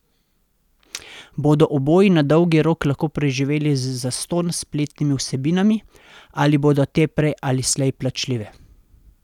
Bodo oboji na dolgi rok lahko preživeli z zastonj spletnimi vsebinami ali bodo te prej ali slej plačljive?